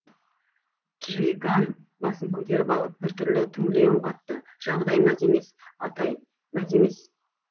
чжиган басын көтеріп алып бір түрлі түңіле үн қатты жағдай мәз емес атай мәз емес